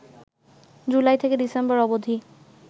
জুলাই থেকে ডিসেম্বর অবধি